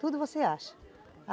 Tudo você acha.